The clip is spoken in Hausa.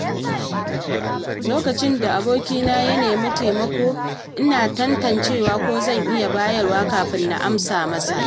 Lokacin da abokina ya nema taimakona, ina tantancewa ko zan iya bayarwa kafin na amsa masa.